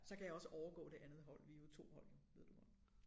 Så kan jeg også overgå det andet hold vi jo 2 hold jo ved du nok